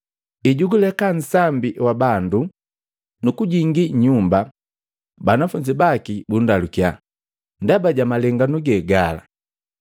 Ejuguuleka nsambi wa bandu nu kujingi nnyumba, banafunzi baki bundalukya ndaba ja malenganu ge gala.